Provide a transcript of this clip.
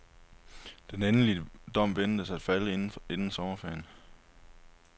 Den endelige dom ventes at falde inden sommerferien.